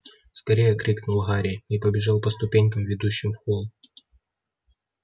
скорее крикнул гарри и побежал по ступенькам ведущим в холл